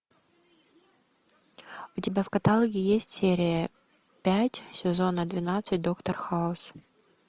у тебя в каталоге есть серия пять сезона двенадцать доктор хаус